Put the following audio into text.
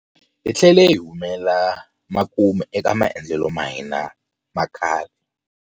Hi tlhele hi humela makumu eka maendlelo ma hina ma khale.